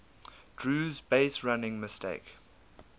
drew's baserunning mistake